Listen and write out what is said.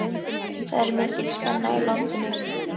Það er mikil spenna í loftinu.